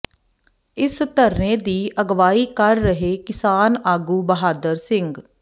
ਇਸ ਧਰਨੇ ਦੀ ਅਗਵਾਈ ਕਰ ਰਹੇ ਕਿਸਾਨ ਆਗੂ ਬਹਾਦਰ ਸਿੰਘ